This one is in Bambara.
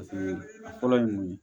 Paseke a fɔlɔ ye mun ye